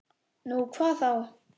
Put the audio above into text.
Nú, hvað þá?